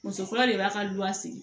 Muso fɔlɔ de b'a ka luwa se